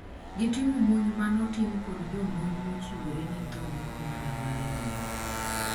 gitimo monj manotim kod jomonj mochiwore ne tho gi kamanda mar lweny